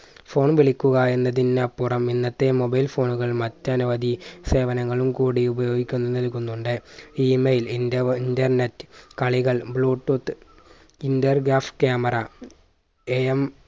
phone വിളിക്കുക എന്നതിന്നപ്പുറം ഇന്നത്തെ mobile phone കൾ മറ്റനവധി സേവനങ്ങളും കൂടി ഉപയോഗിക്കാൻ നൽകുന്നുണ്ട് Email ഇന്റർവ് internet കളികൾ bluetooth, intergraph camera A M